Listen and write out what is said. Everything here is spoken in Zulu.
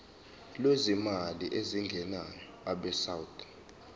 lwezimali ezingenayo abesouth